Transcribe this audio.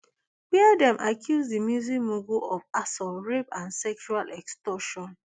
wia dem accuse di music mogul of assaults rape and sexual extortion